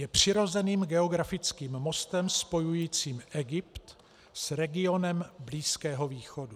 Je přirozeným geografickým mostem spojujícím Egypt s regionem Blízkého východu.